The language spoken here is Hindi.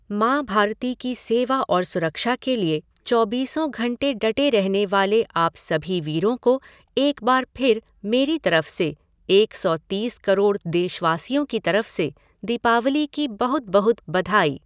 माँ भारती की सेवा और सुरक्षा के लिए चौबीसो घंटे डटे रहने वाले आप सभी वीरों को एक बार फिर मेरी तरफ से, एक सौ तीस करोड़ देशवासियों की तरफ से, दीपावली की बहुत बहुत बधाई।